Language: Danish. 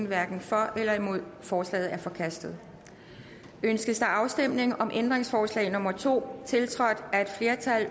hverken for eller imod stemte forslaget er forkastet ønskes afstemning om ændringsforslag nummer to tiltrådt